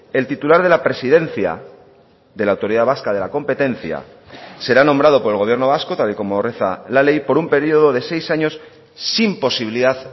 el titular de la presidencia de la autoridad vasca de la competencia será nombrado por el gobierno vasco tal y como reza la ley por un periodo de seis años sin posibilidad